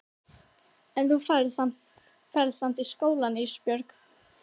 En þú ferð samt í skólann Ísbjörg.